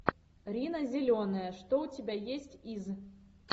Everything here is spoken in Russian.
рина зеленая что у тебя есть из